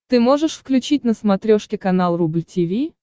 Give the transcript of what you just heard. ты можешь включить на смотрешке канал рубль ти ви